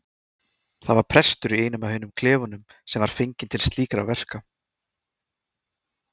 Það var prestur í einum af hinum klefunum sem var fenginn til slíkra verka.